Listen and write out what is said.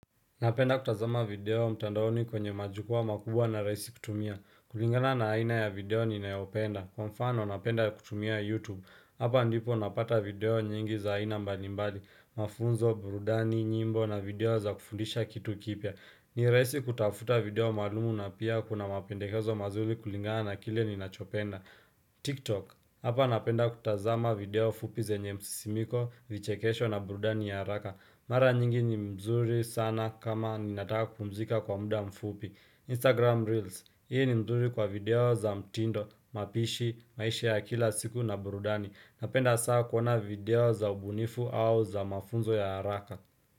Napenda kutazama video mtandaoni kwenye majukwaa makubwa na rahisi kutumia. Kulingana na aina ya video ninayopenda. Kwa mfano, napenda kutumia YouTube. Hapa ndipo napata video nyingi za aina mbalimbali mafunzo, burudani, nyimbo na video za kufundisha kitu kipya. Ni rahisi kutafuta video maalumu na pia kuna mapendehezo mazuri kulingana na kile ninachopenda. TikTok. Hapa napenda kutazama video fupi zenye msisimiko, vichekesho na burudani ya haraka. Mara nyingi ni mzuri sana kama ninataka kupumzika kwa muda mfupi. Instagram Reels. Hii ni mzuri kwa video za mtindo, mapishi, maisha ya kila siku na burudani. Napenda saa kuona video za ubunifu au za mafunzo ya haraka.